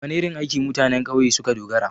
Da wana irin aiki mutanen ƙauye suka dogara?